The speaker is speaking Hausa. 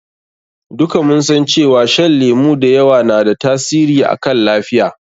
Duka mun san cewa shan lemu da yawa na da tasiri akan lafiya.